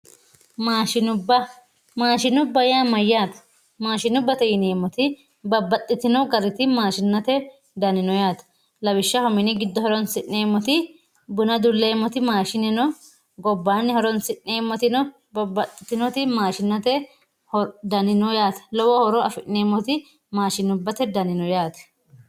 Maashinubba, maashinubba yaa mayyate ,maashinubbate yineemmoti babbaxxitino garinni maashinubbate dani no yaate lawishshaho mini giddo horonsi'neemmoti buna uduleemmoti maashine no gobbani horonsi'neemmotino babbaxxitino maashinate dani no yaate lowo horo affineemmoti maashinubbate dani no yaate.